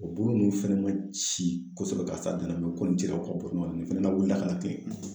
O bolo ninnu fɛnɛ ma ci kosɛbɛ ka s'a dan na mɛ o kɔni cira ka o bɔ ɲɔgɔnna nin fɛnɛ la wuli la ka latilen